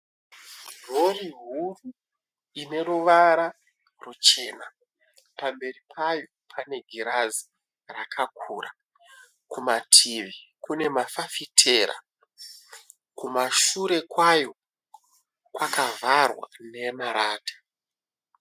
Rori huru ineruvara ruchena. Pamberi payo pane girazi rakakura. Kumativi kune mafafitera. Kumashure kwayo kwakavharwa nemarata.